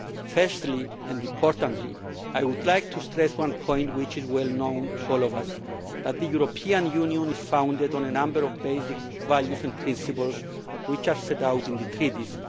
Firstly and importantly, I would like to stress one point which is well known to all of us that the European Union is founded on a number of basic values and principles which are set out in the treaties.